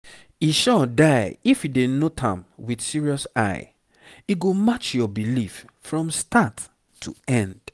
e sure die if you dey note am with serious eye e go match your belief from start to end